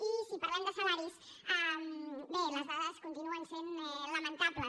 i si parlem de salaris bé les dades continuen sent lamentables